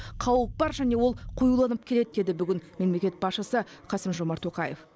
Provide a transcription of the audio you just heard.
қауіп бар және ол қоюланып келеді деді бүгін мемлекет басшысы қасым жомарт тоқаев